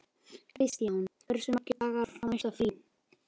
Kristjón, hversu margir dagar fram að næsta fríi?